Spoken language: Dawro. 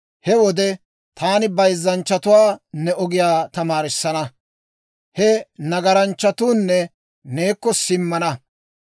He wode taani bayzzanchchatuwaa ne ogiyaa tamaarissana; he nagaranchchatuunne neekko simmana.